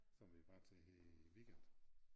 Som vi var til her i æ weekend